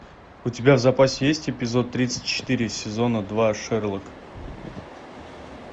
у тебя в запасе есть эпизод тридцать четыре сезона два шерлок